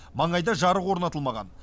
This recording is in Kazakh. маңайда жарық орнатылмаған